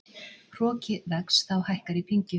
Hroki vex þá hækkar í pyngju.